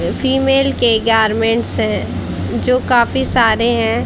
Female के garments हैं जो काफी सारे हैं।